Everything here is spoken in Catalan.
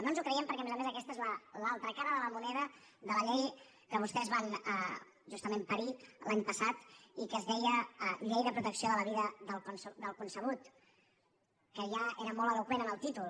no ens ho creiem perquè a més a més aquesta és l’altra cara de la moneda de la llei que vostès van justament parir l’any passat i que es deia llei de protecció de la vida del concebut que ja era molt eloqüent en el títol